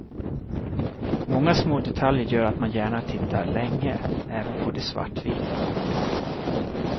Många små detaljer gör att man gärna tittar länge, även på de svartvita.